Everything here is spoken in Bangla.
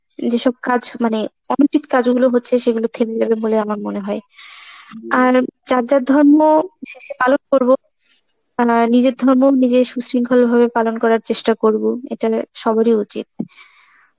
যেসব কাজ মানে অনীতিক কাজ যেগুলো হচ্ছে, সেগুলো থেমে যাবে বলে আমার মনে হয়. আর যার যার ধর্ম শেষে পালন করব, তা না নিজের ধর্ম নিজে সুশৃংখল ভাবে পালন করার চেষ্টা করব, এটা এর সবারই উচিত.